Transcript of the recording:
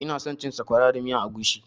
Ina son cin sakwara da miyan agushi